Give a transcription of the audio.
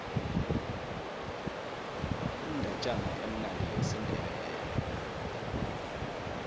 indatjana emnandi yesindebele